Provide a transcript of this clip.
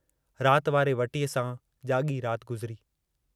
रात वारे वटीअ सां जागी गुज़री।